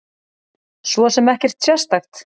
Svo sem ekkert sérstakt.